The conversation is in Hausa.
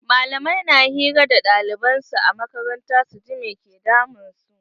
Malamai na hira da ɗaliban su a makaranta su ji me ke damun su.